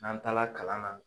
N'an taa la kalan na